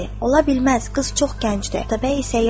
Ola bilməz, qız çox gəncdir.